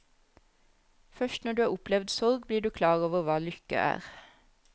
Først når du har opplevd sorg, blir du klar over hva lykke er.